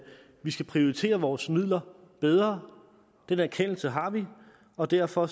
vi skal prioritere vores midler bedre den erkendelse har vi og derfor